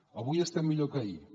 avui estem millor que ahir